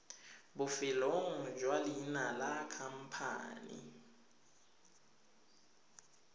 bofelong jwa leina la khamphane